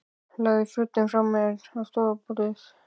Lagði fötin frá mér á stofuborðið.